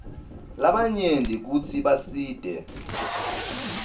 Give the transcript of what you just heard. labanyenti kutsi basite